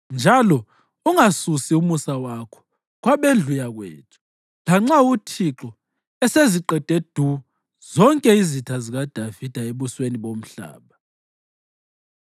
njalo ungasusi umusa wakho kwabendlu yakwethu lanxa uThixo eseziqede du zonke izitha zikaDavida ebusweni bomhlaba.”